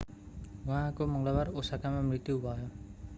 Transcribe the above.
उहाँको मङ्गलबार ओसाकामा मृत्यु भयो